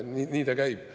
Nii ta käib.